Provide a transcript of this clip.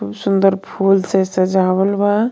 खूब सुंदर फूल से सजावल बा.